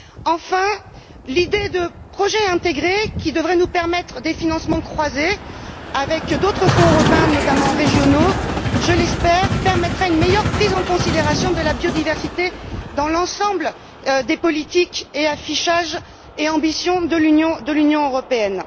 Enfin, l'idée de projet intégré, qui devrait nous permettre des financements croisés avec d'autres fonds européens, notamment régionaux permettrait je l'espère une meilleure prise en considération de la biodiversité dans l'ensemble des politiques, affichages et ambitions de l'Union européenne.